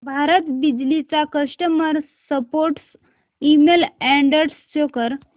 भारत बिजली चा customer support email address show कर